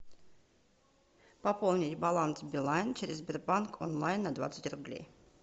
пополнить баланс билайн через сбербанк онлайн на двадцать рублей